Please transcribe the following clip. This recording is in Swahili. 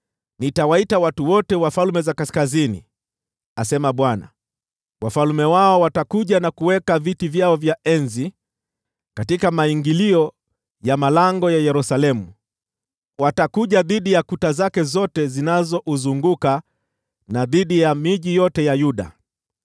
Nitawaita watu wote wa falme za kaskazini,” asema Bwana . “Wafalme wao watakuja na kuweka viti vyao vya enzi katika maingilio ya malango ya Yerusalemu, watakuja dhidi ya kuta zake zote zinazouzunguka, na dhidi ya miji yote ya Yuda.